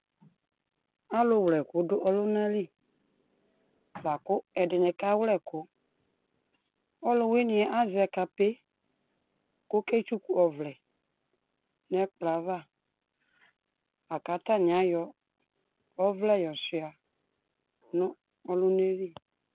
Alʋ wlɛkʋ dʋ ɔlʋna li, boa kʋ ɛdini kawlɛ ʋkʋ Ɔlʋwini ɛ, azɛ kape kʋ oketsuku ɔvlɛ nʋ ɛkplɔ ava, la kʋ atani ayɔ ɔvlɛ yɔsuia nʋ ɔlʋna yɛ li